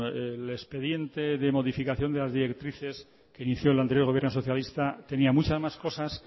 el expediente de modificación de las directrices que inició el anterior gobierno socialista tenía muchas más cosas